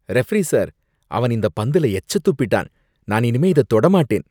Referee sir, அவன் இந்த பந்துல எச்ச துப்பிட்டான், நான் இனிமே இத தொடமாட்டேன்.